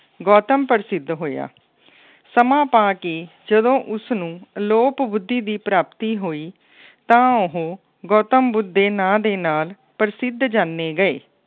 ਗੌਤਮ ਪ੍ਰਸਿੱਧ ਹੋਇਆ। ਸਮਾਂ ਪਾ ਕੇ ਜਦੋਂ ਉਸਨੂੰ ਅਲੋਪ ਬੁੱਧੀ ਦੀ ਪ੍ਰਾਪਤੀ ਹੋਈ ਤਾਂ ਉਹ ਗੌਤਮ ਬੁੱਧ ਦੇ ਨਾ ਦੇ ਨਾਲ ਪ੍ਰਸਿੱਧ ਜਾਣੇ ਗਏ।